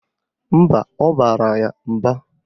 Mba, ọ bara ya mba.